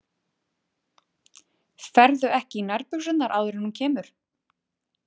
Ferðu ekki í nærbuxurnar áður en hún kemur?